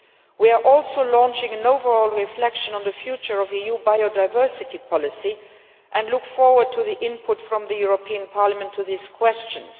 We are also launching an overall reflection on the future of EU biodiversity policy and look forward to the input of the European Parliament on these questions.